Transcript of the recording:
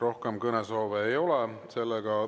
Rohkem kõnesoove ei ole.